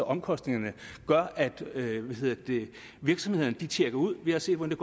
omkostningerne gør at virksomhederne tjekker ud vi har set hvordan